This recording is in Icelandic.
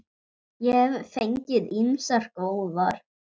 Ég hef fengið ýmsar góðar.